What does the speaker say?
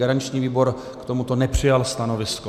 Garanční výbor k tomuto nepřijal stanovisko.